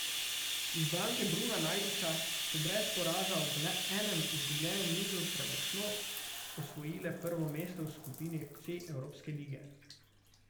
Izbranke Bruna Najdiča so brez poraza ob le enem izgubljenem nizu premočno osvojile prvo mesto v skupini C evropske lige.